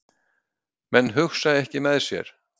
Menn hugsa ekki með sér